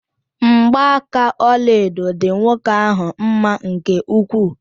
Mgba aka ọlaedo dị nwoke ahụ mma nke ukwuu.